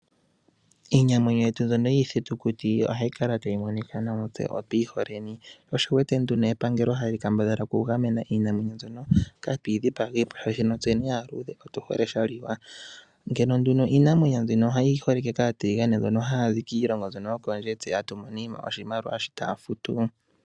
Iinamwenyo yetu mbyono yiithitukuti ohayi kala tayi monika nawa notu yi hole, sho osho wu wete nduno epangelo hali kambadhala okugamena iinamwenyo mbyoka kaatu yi dhipagiipo, oshoka tseni aaluudhe otu hole sha liwa. Iinamwenyo mbika oyi holike kaatiligane mbono haya zi kiilongo yokondje, tse tatu mono mo oshimaliwa shoka taya futu.